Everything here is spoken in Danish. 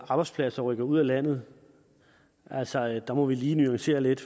arbejdspladser rykker ud af landet altså der må vi lige nuancere lidt